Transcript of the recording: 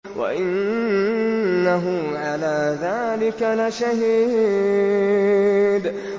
وَإِنَّهُ عَلَىٰ ذَٰلِكَ لَشَهِيدٌ